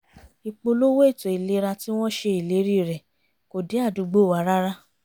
ìpolówó ètò ìlera tí wọ́n ṣe ìlérí rẹ̀ kò dé àdúgbò wa rárá